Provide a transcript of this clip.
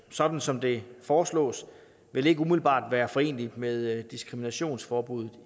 sådan som det foreslås vil ikke umiddelbart være foreneligt med diskriminationsforbuddet